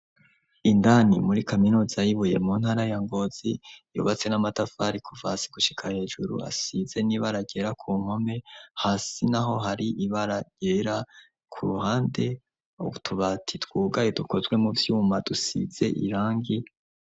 Indani muri Kaminuza yibuye mu ntara ya Ngozi yobatse n'amatafari kuvasi gushika hejuru asize n'ibaragera ku nkome hasi naho hari ibaragera ku ruhande tubati twugaye dukozwe mu vyuma dusize irangi.